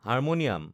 harmonium